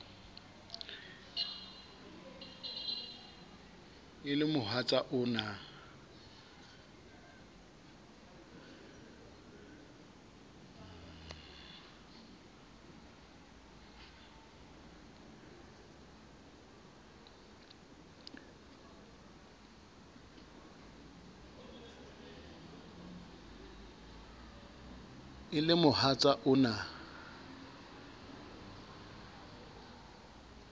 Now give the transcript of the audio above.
e le mohatsa o na